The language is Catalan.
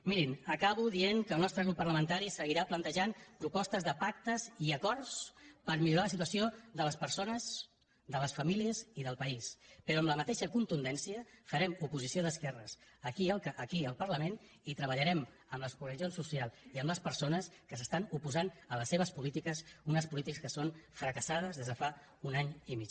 mirin acabo dient que el nostre grup parlamentari seguirà plantejant propostes de pactes i acords per millorar la situació de les persones de les famílies i del país però amb la mateixa contundència farem oposició d’esquerres aquí al parlament i treballarem amb les organitzacions socials i amb les persones que s’estan oposant a les seves polítiques unes polítiques que són fracassades des de fa un any i mig